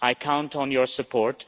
I count on your support